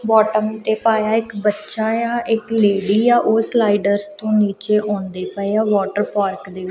bathtub ਤੇ ਪਾਇਆ ਇੱਕ ਬੱਚਾ ਯਾ ਇੱਕ ਲੇਡੀ ਆ ਔਹ ਸਲਾਈ ਦਰਜ਼ ਤੋਂ ਨੀਚੇ ਔਂਦੇ ਪਏ ਹਾਂ ਵਾਟਰ ਪਾਰਕ ਦੇ ਵਿ--